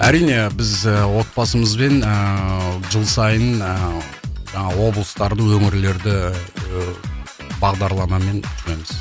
әрине біз ыыы отбасымызбен ыыы жыл сайын ыыы жаңағы облыстарды өңірлерді ыыы бағдарламалармен жүреміз